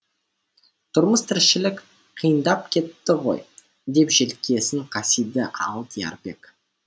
тұрмыс тіршілік қиындап кетті ғой деп желкесін қасиды алдиярбек